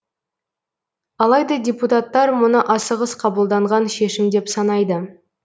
алайда депутаттар мұны асығыс қабылданған шешім деп санайды